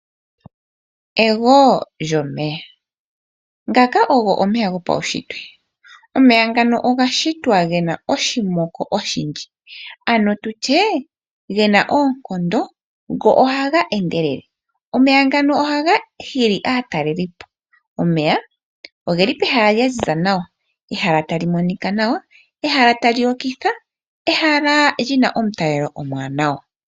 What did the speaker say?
Egwo lyomeya. Ngaka ogo omeya gopaushitwe. Omeya ogeli pehala tapu monika nawa, pwaziza puna omutalelo omwaanawa.